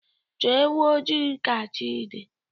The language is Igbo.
Chọọ ewu ojii ka chi dị